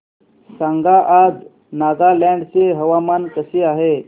सांगा आज नागालँड चे हवामान कसे आहे